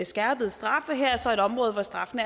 skærpede straffe her er så et område hvor straffene